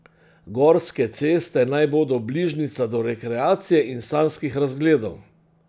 Gorske ceste naj bodo bližnjica do rekreacije in sanjskih razgledov.